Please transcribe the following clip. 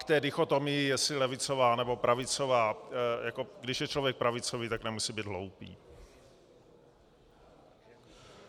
K té dichotomii, jestli levicová, nebo pravicová: když je člověk pravicový, tak nemusí být hloupý.